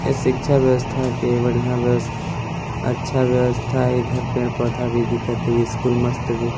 ये शिक्षा व्यवस्था के बढ़िया व्यवस अच्छा व्यवस्था हे इधर पेड़-पौधा भी दिखत हे स्कूल मस्त भी--